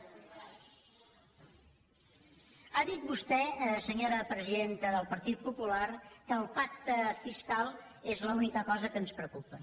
ha dit vostè senyora presidenta del partit popular que el pacte fiscal és l’única cosa que ens preocupa